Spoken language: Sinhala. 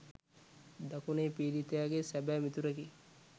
දකුණේ පීඩිතයාගේ සැබෑ මිතුරෙකි.